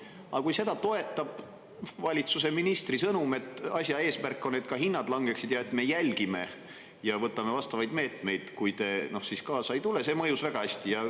Aga kui seda toetab valitsuse ministri sõnum, et asja eesmärk on, et ka hinnad langeksid ning et me jälgime ja võtame vastavaid meetmeid, kui te kaasa ei tule, siis see mõjub väga hästi.